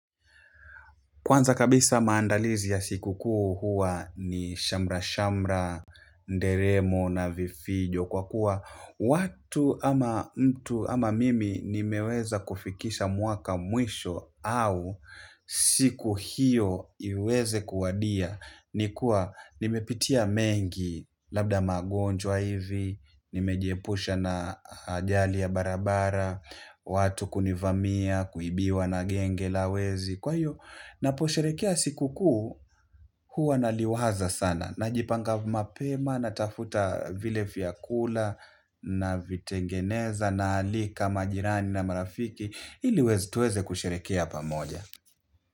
Kwanza kabisa maandalizi ya siku kuu huwa ni shamra-shamra, nderemo na vifijo kwa kuwa watu ama mtu ama mimi nimeweza kufikisha mwaka mwisho au siku hiyo iweze kuwadia. Nikuwa nimepitia mengi labda magonjwa hivi, nimejiepusha na ajali ya barabara, watu kunivamia, kuibiwa na genge la wezi. Kwa hiyo, ninaposherehekea siku kuu huwa naliwaza sana. Najipanga mapema, natafuta vile vyakula, navitengeneza, naalika majirani na marafiki. Hili tuweze kusherehekea pamoja.